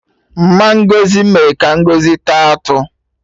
Mma Ngozi mee ka Ngozi taa atụ